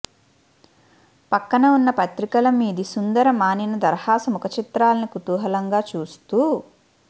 పక్కన ఉన్న పత్రికల మీది సుందర మానినీ దరహాస ముఖచిత్రాల్ని కుతూహలంగా చూస్తూ